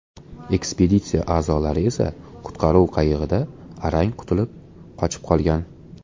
Ekspeditsiya a’zolari esa qutqaruv qayig‘ida arang qutulib qochib qolgan.